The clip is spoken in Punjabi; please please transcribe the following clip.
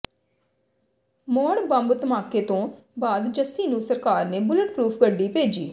ਮੌੜ ਬੰਬ ਧਮਾਕੇ ਤੋਂ ਬਾਅਦ ਜੱਸੀ ਨੂੰ ਸਰਕਾਰ ਨੇ ਬੁਲਟ ਪਰੂਫ਼ ਗੱਡੀ ਭੇਜੀ